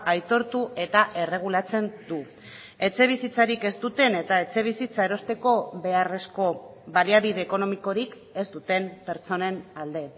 aitortu eta erregulatzen du etxebizitzarik ez duten eta etxebizitza erosteko beharrezko baliabide ekonomikorik ez duten pertsonen alde